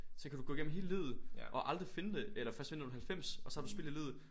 Så kan du gå igennem hele livet og aldrig finde det eller først finde det når du er 90 og så har du spildt hele livet